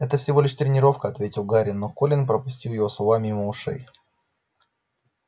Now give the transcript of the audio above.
это всего лишь тренировка ответил гарри но колин пропустил его слова мимо ушей